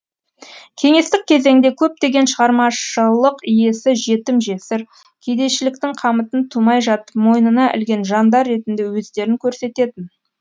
кеңестік кезеңде көптеген шығармашлық иесі жетім жесір кедейшіліктің қамытын тумай жатып мойнына ілген жандар ретінде өздерін көрсететін